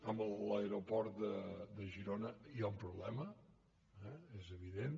amb l’aeroport de girona hi ha un problema és evident